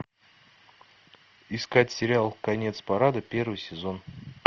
искать сериал конец парада первый сезон